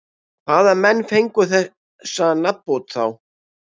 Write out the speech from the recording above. Hvaða menn fengu þessa nafnbót þá?